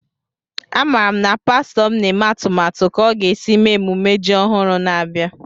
A mara m na pastọ m na-eme atụmatụ ka o ga esi mee emume ji ọhụrụ na-abịa